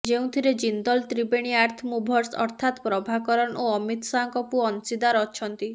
େଯଉଁଥିରେ Jindal Triveni earth movers ଅର୍ଥାତ୍ ପ୍ରଭାକରନ୍ ଓ ଅମିତ ଶାହଙ୍କ ପୁଅ ଅଂଶୀଦାର ଅଛନ୍ତି